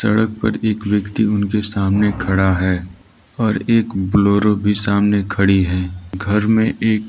सड़क पर एक व्यक्ति उनके सामने खड़ा है और एक बोलेरो भी सामने खड़ी है घर में एक--